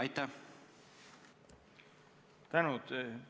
Tänan!